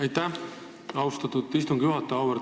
Aitäh, austatud istungi juhataja!